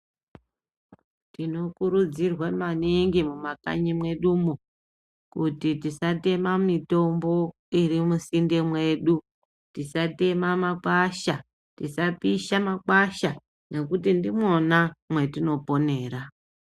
Tinokurudziwa maningi mumakanyi mwedu mwo kuti tisatema mitombo iri musinde mwedu tisatema makwasha tisapisha makwasha nekuti ndimwona mwatoponera.